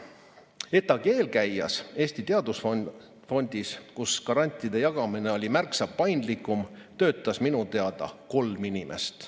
ETAg-i eelkäijas, Eesti Teadusfondis, kus grantide jagamine oli märksa paindlikum, töötas minu teada kolm inimest.